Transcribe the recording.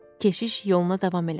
Keşiş yoluna davam elədi.